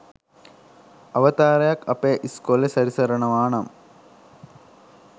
අවතාරයක් අපේ ඉස්කෝලෙ සැරිසරනවා නම්